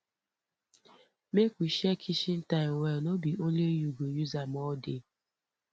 make we share kitchen time well no be only you go use am all day